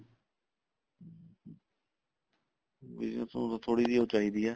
business ਨੂੰ ਤਾਂ ਥੋੜੀ ਜੀ ਉਹ ਚਾਹੀਦੀ ਆ